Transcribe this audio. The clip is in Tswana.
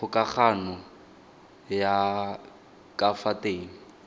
kgokagano ya ka fa teng